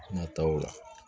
Nataw la